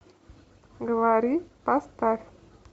говори поставь